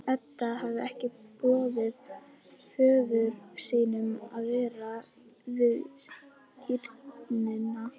Edda hafði ekki boðið föður sínum að vera við skírnina.